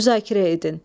Müzakirə edin.